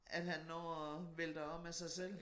At han når at vælter om af sig selv